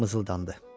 Mızıldandı.